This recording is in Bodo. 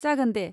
जागोन दे।